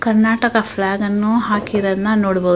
Karnataka flag ಅನ್ನು ಹಾಕಿರದ್ ನ್ನ ನೋಡಬಹು --